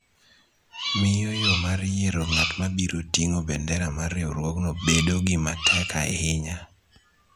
miyo yo mar yiero ng�at ma biro ting�o bendera mar riwruogno bedo gima tek ahinya.